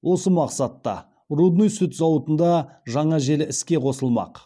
осы мақсатта рудный сүт зауытында жаңа желі іске қосылмақ